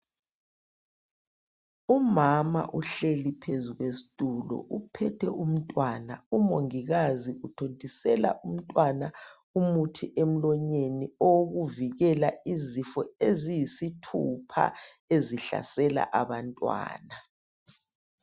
Umama uhleli phezu kwesitulo uphethe umntwana umongikazi uthontisela umntwana umuthi emlonyeni owukuvikela izifo eziyisithupha ezihlasela abantwana.